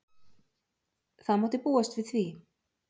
Það mátti búast við því.